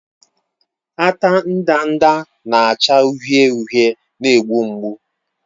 Ata ndanda na-acha uhie uhie na-egbu mgbu.